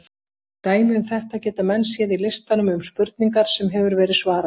Dæmi um þetta geta menn séð í listanum um spurningar sem hefur verið svarað.